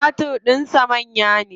Timatir din sa manya ne sosai.